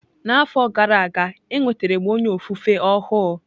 N'afọ gara aga, enwetara m onye ofufe ọhụụ.